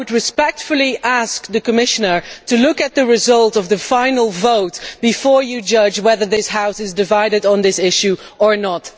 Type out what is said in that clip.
I would respectfully ask the Commissioner to look at the result of the final vote before judging whether this House is divided on this issue or not.